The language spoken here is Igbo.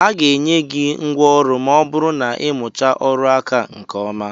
A ga-enye gị ngwa ọrụ ma ọ bụrụ na ị mụchaa ọrụ aka a nke ọma.